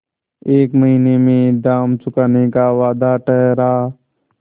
एक महीने में दाम चुकाने का वादा ठहरा